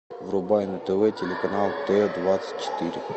врубай на тв телеканал т двадцать четыре